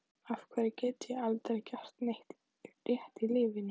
Af hverju get ég aldrei gert neitt rétt í lífinu?